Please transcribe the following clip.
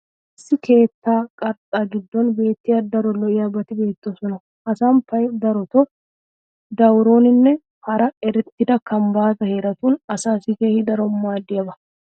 issi keettaa qarxxaa giddon beetiya daro lo'iyaabati beetoosona. ha samppay darotoo dawuronne hara erettida kambbaata heeratun asaassi keehi daro maadiyaaba.